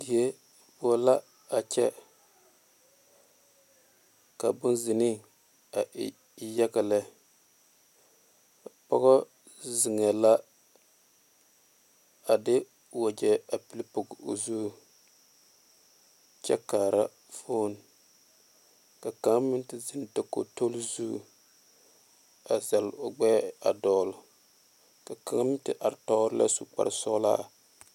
Die poɔ la a kyɛ ka bone zene e yaga le pɔge zeiŋ la a de wagyi vile poɔ o zu kyɛ kaare fone ka kaŋ meŋ te zeŋe dakoge tolezu a zeɛle o gbɛ a dole ka meŋ te zeŋe su koaare sõɔla .